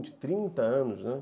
Trinta anos, né?